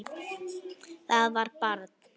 Það var barn.